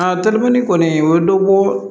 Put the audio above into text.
A terimani kɔni o ye dɔ ko